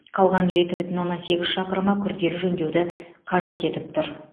қалған жеті бүтін оннан сегіз шақырымы күрделі жөндеуді қажет етіп тұр